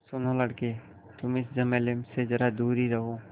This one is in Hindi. सुनो लड़के तुम इस झमेले से ज़रा दूर ही रहो